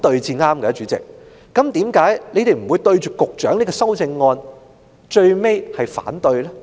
主席，為何他們最終不會對局長這項修正案提出反對呢？